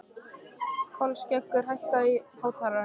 Kolskeggur, hækkaðu í hátalaranum.